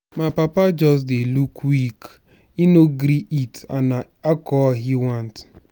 my papa just dey look weak he no dey gree eat and na alcohol he want.